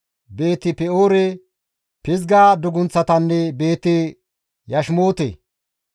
Beeti-Pe7oore, Pizga dugunththatanne Beeti-Yashimoote.